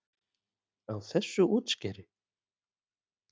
Á þessu útskeri?